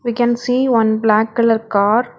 We can see one black colour car.